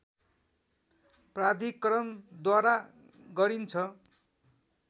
प्राधिकरणद्वारा गरिन्छ